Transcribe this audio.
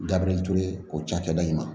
Gabiriyɛri ture o cakɛda in ma